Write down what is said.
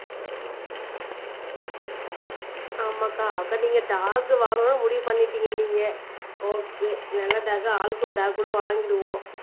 ஆமாக்கா அக்கா நீங்க டாக் வாங்கணும்னு முடிவு பண்ணிட்டீங்க ஓகே நல்ல டாக்கா ஆளுக்கொரு டாக் கூட வாங்கிருவோம்